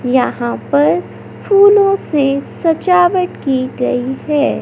यहां पर फूलों से सजावट की गई है।